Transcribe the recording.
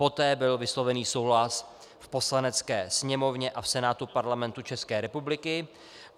Poté byl vysloven souhlas v Poslanecké sněmovně a v Senátu Parlamentu České republiky.